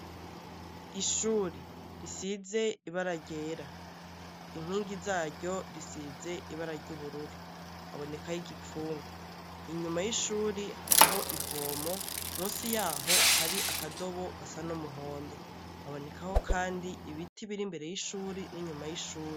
Ishuri risize ibara ryera inkingi zaryo risize ibarary' ubururu habonekaho igipfungu inyuma y'ishuri hariho ivomo musi yaho hari akadobo gasa n'umuhondo haboneka ho, kandi ibiti biri imbere y'ishuri n'inyuma y'ishuri.